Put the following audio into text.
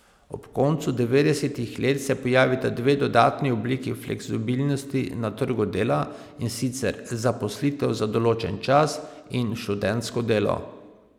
Ob koncu devetdesetih let se pojavita dve dodatni obliki fleksibilnosti na trgu dela, in sicer zaposlitev za določen čas in študentsko delo.